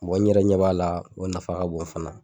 n yɛrɛ ɲɛ b'a la o nafa ka bon fana.